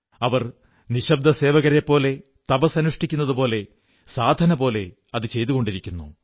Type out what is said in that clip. അവർ നിശ്ശബ്ദ സേവകരെപ്പോലെ തപസ്സനുഷ്ഠിക്കുന്നതുപോലെ സാധനപോലെ അതു ചെയ്തുകൊണ്ടിരിക്കുന്നു